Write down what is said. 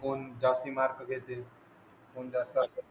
जास्ती मार्क घेतील होऊन जात